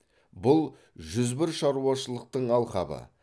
бұл жүз бір шаруашылықтың алқабы